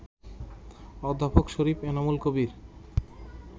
অধ্যাপক শরীফ এনামুল কবির